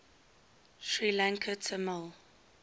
sri lankan tamil